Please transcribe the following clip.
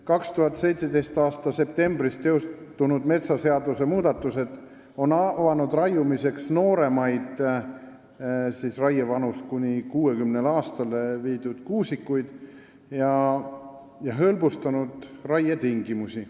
2017. aasta septembris teostunud metsaseaduse muudatused on avanud raiumiseks nooremaid – raievanus on langetatud 60 aastale – kuusikuid ja hõlbustanud raietingimusi.